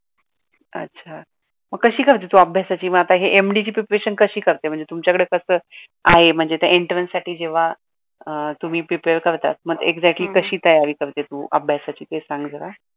अच्छा, मग कशी करते तू अभ्यासाची, मग तू MD च प्रिपेरेशन कशी करते, महणजे तुमच्याकडे कसं आहे म्हणजे त्या एंट्रेन्स साठी जेव्हा अह तुम्ही प्रिपेरे करतात म एंक्स्याटली कशी तयारी करते तू अभ्यासाची ते सांग जरा?